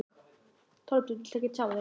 Þorbjörn: Viltu ekki tjá þig?